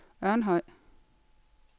Ørnhøj